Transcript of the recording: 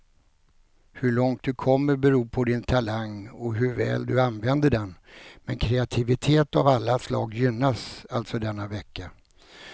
Hur långt du kommer beror på din talang och hur väl du använder den, men kreativitet av alla slag gynnas alltså denna vecka.